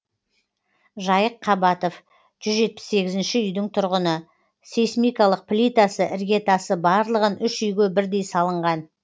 жайық қабатов жүз жетпіс сегізінші үйдің тұрғыны сейсмикалық плитасы іргетасы барлығын үш үйге бірдей салынған